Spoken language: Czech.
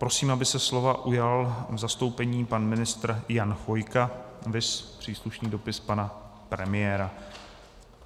Prosím, aby se slova ujal v zastoupení pan ministr Jan Chvojka, viz příslušný dopis pana premiéra.